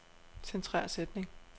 Centrer sætning.